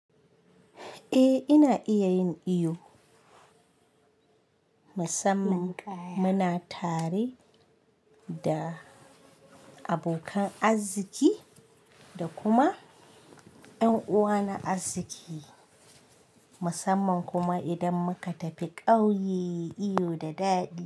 Eh, ina iya yin iyo musamman muna tare da abokan arziki da kuma ƴan uwa na azziki musamman kuma idan muka tafi ƙauye iyo da daɗi.